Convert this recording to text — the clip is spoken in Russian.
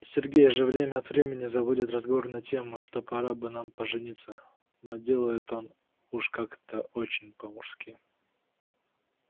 сергей же время от времени заводит разговор на тему что пора бы нам пожениться но делает он это уж как-то очень по-мужски